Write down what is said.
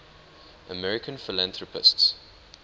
american philanthropists